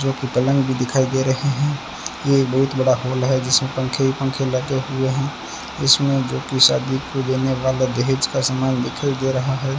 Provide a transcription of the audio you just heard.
जो कि पलंग भी दिखाई दे रहें है ये बहुत बड़ा हॉल है जिसमे पंखे ही पंखे लगे हुए हैं इसमें जो की शादी को देने वाला दहेज का सामान दिखाई दे रहा है।